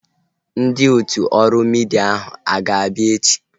Ndị otu ọrụ midia ahu a ga-abịa echi?